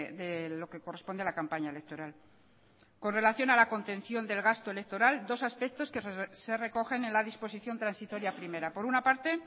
de lo que corresponde a la campaña electoral con relación a la contención del gasto electoral dos aspectos que se recogen en la disposición transitoria primera por una parte